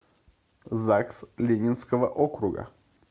загс ленинского округа